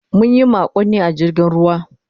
Mun yi makonni a jirgin ruwa.